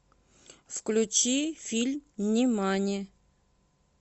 включи фильм нимани